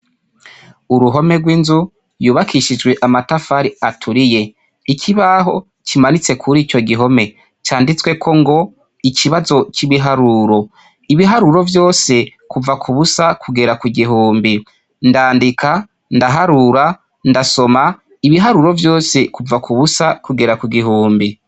Uruhome rw' inzu yubakishijwe amatafari aturiye. Ikibaho kimanitsekurico gihome canditseko ngo: ikibazo c' ibiharuro. Ibiharuro vyose kuva ku busa kugera ku gihumbi. Ndandika, ndaharura, ndasoma, ibiharuro vyose kuva ku busa kugera ku gihumbi .